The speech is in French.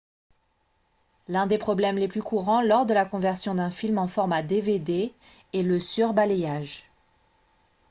l'un des problèmes les plus courants lors de la conversion d'un film en format dvd est le surbalayage